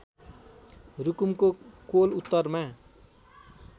रुकुमको कोल उत्तरमा